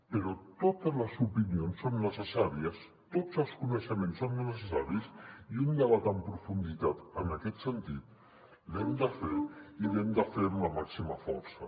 però totes les opinions són necessàries tots els coneixements són necessaris i un debat en profunditat en aquest sentit l’hem de fer i l’hem de fer amb la màxima força